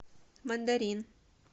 мандарин